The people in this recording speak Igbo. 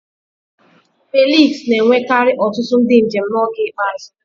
Felix na-enwekarị ọtụtụ ndị njem n'oge ikpeazụ.